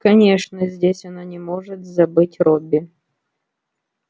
конечно здесь она не может забыть робби